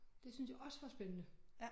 Det syntes jeg også var spændende